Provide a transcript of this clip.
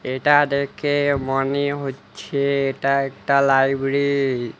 এটা দেখে মনে হচ্ছে এটা একটা লাইবিরি ।